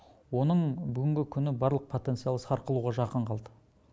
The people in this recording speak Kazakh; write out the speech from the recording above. оның бүгінгі күні барлық потенциалы сарқылуға жақын қалды